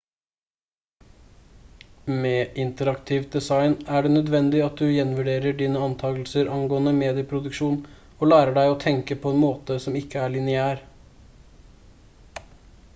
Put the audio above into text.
med interaktivt design er det nødvendig at du gjenvurderer dine antakelser angående medieproduksjon og lærer deg å tenke på en måte som ikke er lineær